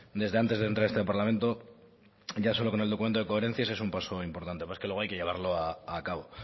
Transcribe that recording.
desde antes de entrar a este parlamento ya solo con el documento de coherencias es un paso importante lo que pasa es que luego hay que llevarlo a cabo